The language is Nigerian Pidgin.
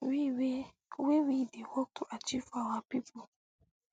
wey we dey work to achieve for our pipo